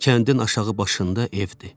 Kəndin aşağı başında evdir.